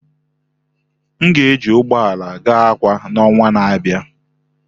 M ga-eji ụgbọ ala gaa Akwa na ọnwa na-abịa.